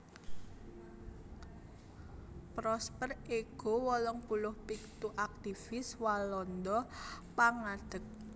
Prosper Ego wolung puluh pitu aktivis Walanda pangadeg